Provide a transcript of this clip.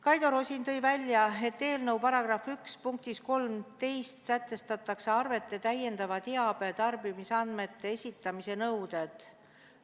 Kaido Rosin tõi välja, et eelnõu § 1 punktis 13 sätestatakse arvetele täiendava teabe ja tarbimisandmete esitamise nõuded.